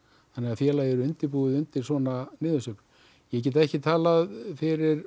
félagið er undirbúið undir svona niðursveiflu ég get ekki talað fyrir